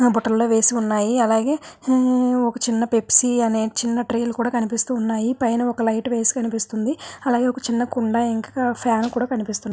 బుట్టలో వేసినది అలాగే ఒక చిన్న పెప్సీ కనిపిస్తుంది చిన్న ట్రే లో కనిపిస్తున్నాయి పైన్ లైట్ వేసి కనిపిస్తుంది అల్లాగే చిన్న కుండా కనిపిస్తుంది ఫ్యాన్ కూడా వేసి కనిపిస్తుంది .